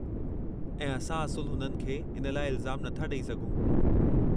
ऐं असां असुलु हुननि खे इन लाइ इल्ज़ामु नथा ॾेई सघूं।